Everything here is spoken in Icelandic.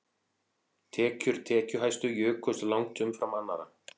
Tekjur tekjuhæstu jukust langt umfram annarra